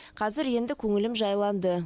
қазір енді көңілім жайланды